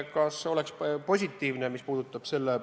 Kas oleks positiivne?